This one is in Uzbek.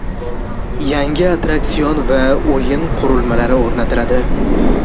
Yangi attraksion va o‘yin qurilmalari o‘rnatiladi.